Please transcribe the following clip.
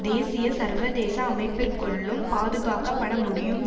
தேசிய சர்வதேச அமைப்பிற்குள்ளும் பாதுகாக்கப்படமுடியும்